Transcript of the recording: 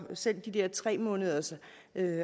selv de der tre måneders